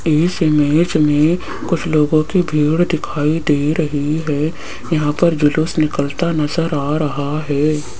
इस इमेज में कुछ लोगों की भीड़ दिखाई दे रही है यहां पर जुलूस निकलता नजर आ रहा है।